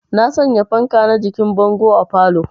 Na sanya fanka na jikin bango a falow